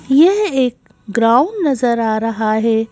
यह एक ग्राउंड नजर आ रहा है।